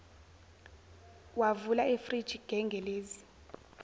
wavula ifriji gengelezi